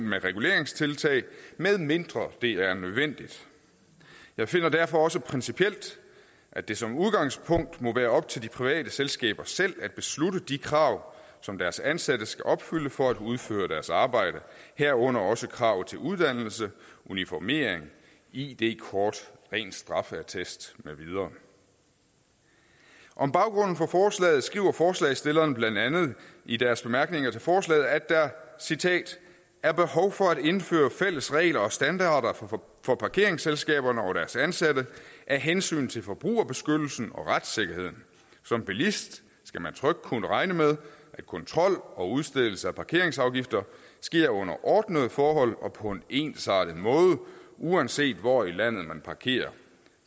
med reguleringstiltag medmindre det er nødvendigt jeg finder derfor også principielt at det som udgangspunkt må være op til de private selskaber selv at beslutte de krav som deres ansatte skal opfylde for at udføre deres arbejde herunder også krav til uddannelse uniformering id kort ren straffeattest med videre om baggrunden for forslaget skriver forslagsstillerne blandt andet i deres bemærkninger til forslaget der er behov for at indføre fælles regler og standarder for parkeringsselskaberne og deres ansatte af hensyn til forbrugerbeskyttelsen og retssikkerheden som bilist skal man trygt kunne regne med at kontrol og udstedelse af parkeringsafgifter sker under ordnede forhold og på en ensartet måde uanset hvor i landet man parkerer